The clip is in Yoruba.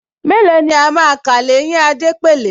Mélòó ni a máa kà l’éyín Adépèlé